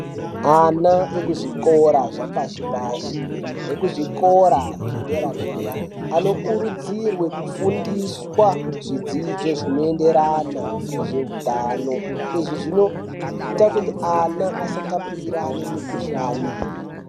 Ana ekuzvikora zvapashi pashi nekuzvikora zvedera -dera ano kurudzirwe kufundiswa zvidzidzo zvinoenderana nezveutano. Izvi zvinoite kuti ana asata purirane mukhuhlani.